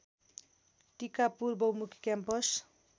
टिकापुर बहुमुखी क्याम्पस